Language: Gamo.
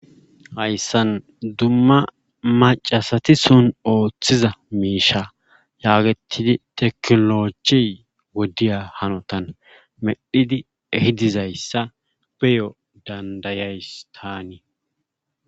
Hayssan dumma maccasati son oothiza miisha yaagettidi tekkinoloojey wodiya hanotan medhidi ehi dizayssa ne7o danddayays taani.